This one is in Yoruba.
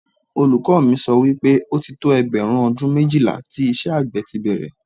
Olùkọ́ mi sọ wípé, ó ti tó ẹgbẹ̀rún ọdún méjìlá tí iṣẹ́ àgbẹ̀ ti bẹ̀rẹ̀